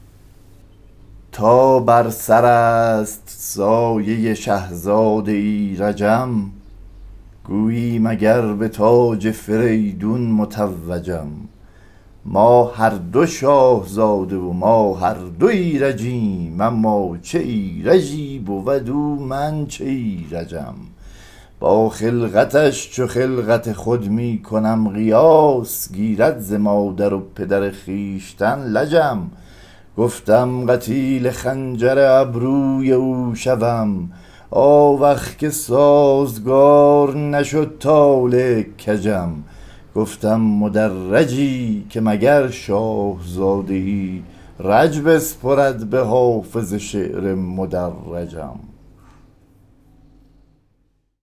تا بر سر است سایه شهزاده ایرجم گویی مگر به تاج فریدون متوجم ما هر دو شاهزاده و ما هر دو ایرجیم اما چه ایرجی بود او من چه ایرجم با خلقتش چو خلقت خود می کنم قیاس گیرد ز مادر و پدر خویشتن لجم گفتم قتیل خنجر ابروی او شوم آوخ که سازگار نشد طالع کجم گفتم مدرجی که مگر شاهزاده ای رج بسپرد به حافظه شعر مدرجم